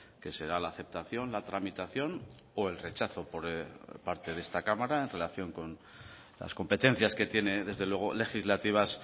que será la aceptación la tramitación o el rechazo por parte de esta cámara en relación con las competencias que tiene desde luego legislativas